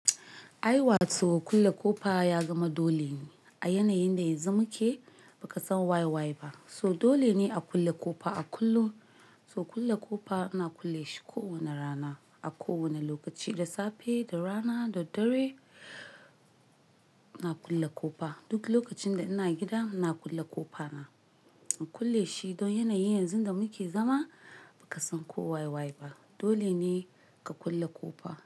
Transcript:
Aiwa! To kulle ƙofa ya zama dole ne. A yanayin da yanzu muke ba ka san waye waye ba. So dole ne a kulle ƙofa. A kullo, so kulle ƙofa ana kulle shi kowane rana, a kowane lokaci, da safe, da rana, da dare ana kulle ƙofa. Duk lokacin da ina gida ina kulle ƙofa na. In kulle shi don yanayi yanzu da muke zama ba ka san ko waye-waye ba. Dole ne ka kulle ƙofa.